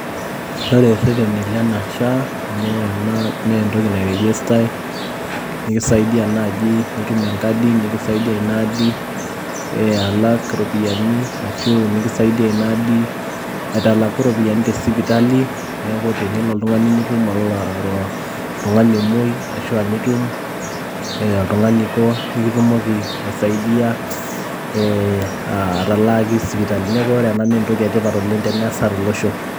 Ore irreteni Lena SOCIAL HEALTH AUTHORITY naa entoki ena nairejistae nikisaidia naaji nitum engadi nikisaidia ina adi aalak iropiyiani ashu nikisaidia ina adi aitalaku iropiyiani tesipitali neeku tenelo oltung'ani nitum oltung'ani omoi ashu ainitum ee oltung'ani oiko nimitumoki aisaidia atalaaki sipitali neeku ore ena naa entoki sidai teneesa tolosho.